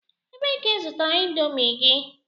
Ebee ka i zụtara Indomi gị?